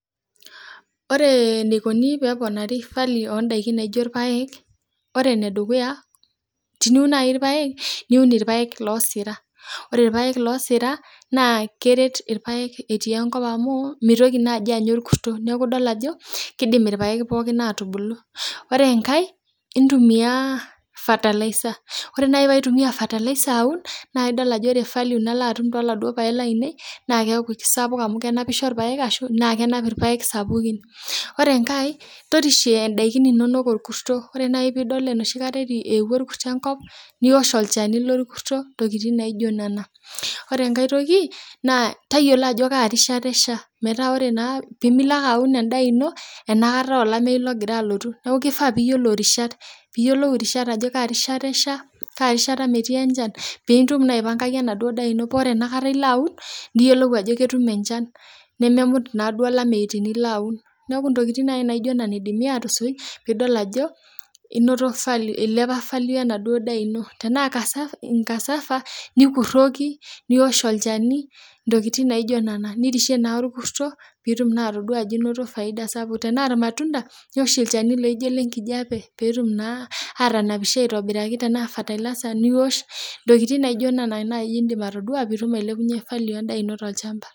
Ore neikoni peeponsri valio ondaki naijo irpaek, ore nedekuya teniun nai irpaek, niun irpaek loosira, ore irpaek loosira naa keret irpaek etii enkop amuu meitoki naaji anya orkurto, naaku idol ajo keidim irpaek pookin aatubulu. Ore inkae intumiyaa fertilizer ,ore naii paitumiya fertilizer auun, naa idol ajo ore valio nalo atum te ladrón irpaek lainei naa keaku kesapuk amu kenapisho irpaek ashu naa kenap irpaek sapukin. Ore enkae torishe indaki inonok3orkurto, ore nai piidol enoshi kata eewuo irkurto enkop niwosh orchani le kurto ntokitin naijo nena. Ore enkae toki naa tayiolo ajo kaa rishata eshaa, metaa ore naa piimilo ake aaun endaa ino anakata aa lameii logira alotu, naaku keifaa piiyolo rishat, piiyolou rishat ajo kaa rishata esha, kaa rishata metii enchan piitum nai aipangaki enaduo daa ino, paa ore enakata ilo aun, niyiolou ajo ketum enchan nememut naduo lamei tenilo aun, naaku ntokitin nai naijo nena eidimi aatusuj piidol ajo inoto valio, eilepa valio enaduo indaa ino, tenaa nkasafa, nikuroki, niwuosh olcheni, ntokitin naijo nena, nirishe naa orkurto piitum naa atodua ajo inoto efaida sapuk, tenaa ormatunda niwuosh olchani laijo le enkijepe peetum naa atanapisho aitobiraki tanaa fertilizer niwuosh ntokitin naijo nana nai indim atodua piitum ailepunye valio enda ino to ilchamba.